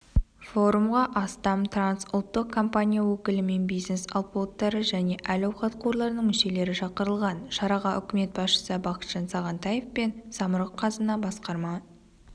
форумға астам трансұлттық компания өкілі мен бизнес алпауыттары және әл-ауқат қорларының мүшелері шақырылған шараға үкімет басшысы бақытжан сағынтаев пен самрұқ-қазына басқарма